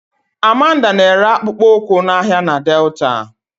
Amanda na-ere akpụkpọ ụkwụ n'ahịa na Delta